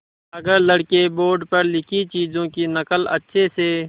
अगर लड़के बोर्ड पर लिखी चीज़ों की नकल अच्छे से